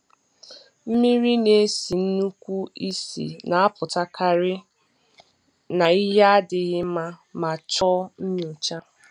Mmiri na-esi nnukwu ísì na-apụtakarị na ihe adịghị mma ma chọọ nyocha.